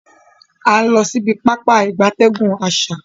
A n lo sibi Pápá ìgbatẹ́gùn asa.